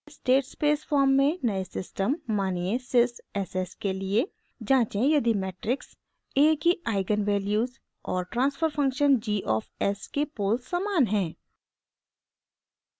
state space form में नए system मानिये sys s s के लिए जाँचें यदि मेट्रिक्स a की आइगन वैल्यूज़ और transfer function g of s के पोल्स समान हैं